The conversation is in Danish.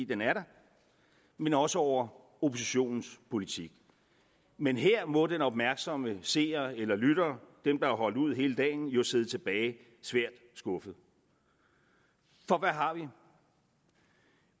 den er der men også over oppositionens politik men her må den opmærksomme seer eller lytter dem der har holdt ud hele dagen jo sidde tilbage svært skuffede for hvad har vi